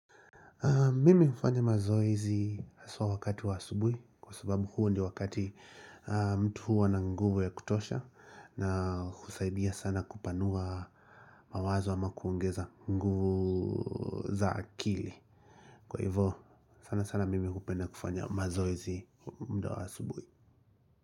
Mimi hufanya mazoezi hasa wakati wa asubuhi kwa sababu huo ndiyo wakati mtu huwa na nguvu ya kutosha na husaidia sana kupanua mawazo ama kuongeza nguvu za akili. Kwa hivyo, sana sana mimi hupenda kufanya mazoezi muda wa asubuhi.